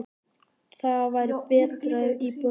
Það væri betra ef íbúðin væri stærri.